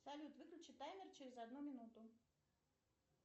салют выключи таймер через одну минуту